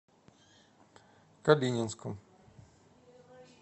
калининском